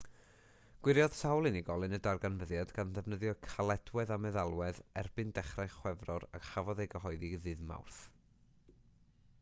gwiriodd sawl unigolyn y darganfyddiad gan ddefnyddio caledwedd a meddalwedd erbyn dechrau chwefror a chafodd ei gyhoeddi ddydd mawrth